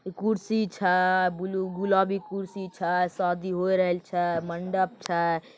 इ कुर्सी छै ब्लू गुलाबी कुर्सी छै शादी होई रहल छै मंडप छै ।